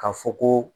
Ka fɔ ko